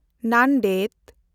Nanded